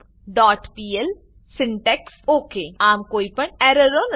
forloopપીએલ syntax okay આમ કોઈપણ એરરો નથી